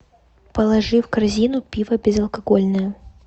положи в корзину пиво безалкогольное